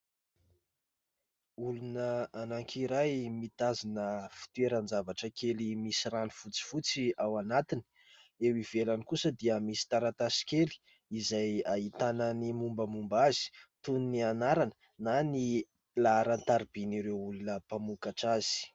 Olona anankiray mitazona fitoeran-javatra kely misy rano fotsifotsy ao anatiny. Eo ivelany kosa dia misy taratasy kely izay ahitana ny mombamomba azy : toy ny anarana na ny laharan-tarobin'ireo olona mpamokatra azy.